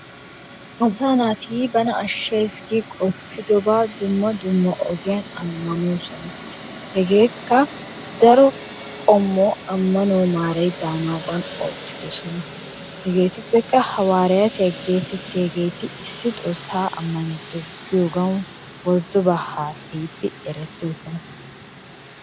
Asaa naati bana ashshees gi qoppidobaa dumma dumma ogiyan ammanoosona. Hegeekka daro qommo ammanuwa maaray daanaadan oottidosona. Hegeetuppekka hawaaraatiya geetettiyageeti issi xoossaa ammanewttees giyogawu worddobaa haasayiiddi erettoosona.